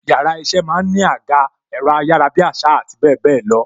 Yàrá iṣẹ́ máa ń ní àga, ẹ̀rọ ayarabiasa àti bebelo.